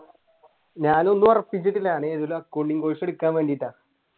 ഞാൻ ഒന്നും ഒറപ്പിച്ചിട്ടില്ല ഞാൻ ഏതേലും accounting course എടുക്കാൻ വേണ്ടിയിട്ടാണ്